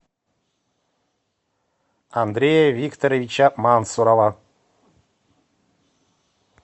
андрея викторовича мансурова